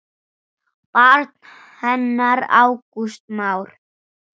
Barn hennar Ágúst Már.